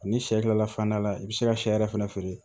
Ani sɛ kilalafana la i bɛ se ka sɛ yɛrɛ fɛnɛ feere